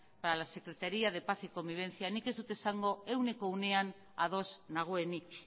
para la secretaria de paz y convivencia nik ez dut esango ehuneko ehun ados nagoenik